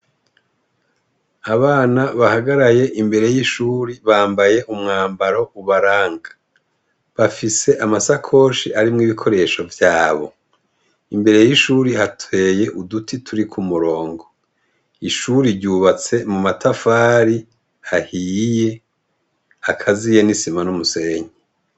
Abana bahagaraye imbere y'ishure bambaye umwambaro ubaranga. Bafise amasakoshi arimwo ibikoresho vyabo. Imbere y'ishuri hateye uduti turi ku murongo. Ishuri ryubatse mu matafari ahiye, akaziye n'isima n'umusenyi.